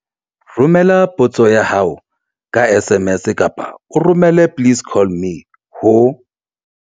Romela potso ya hao ka SMS kapa o romele 'please call me' ho